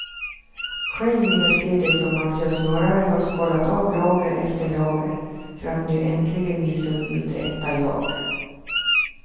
Själv vill jag se det som att jag snarare har skalat av lager efter lager för att nu äntligen visa upp mitt rätta jag.